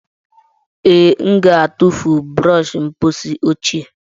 Ee, m ga-atụfu brọsh mposi ochie.